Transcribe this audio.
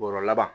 Bɔrɔ laban